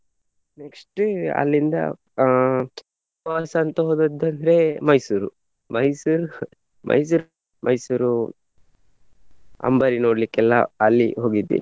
Next ಅಲ್ಲಿಂದ ಅಹ್ ಪ್ರವಾಸ ಅಂತ ಹೋದದ್ದಾದ್ರೆ ಮೈಸೂರು. ಮೈಸೂರು ಮೈಸೂರ್ ಮೈಸೂರು ಅಂಬಾರಿ ನೋಡ್ಲಿಕ್ಕೆಲ್ಲ ಎಲ್ಲಾ ಅಲ್ಲಿ ಹೋಗಿದ್ವಿ.